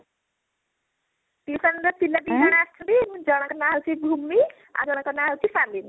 tution ର ପିଲା ଦି ଜଣ ଆସିଛନ୍ତି ଜଣ କ ନା ହଉଚି ଭୂମି ଆଉ ଜଣ କ ନା ହଉଚି ସାଲିନି